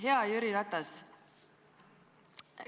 Hea Jüri Ratas!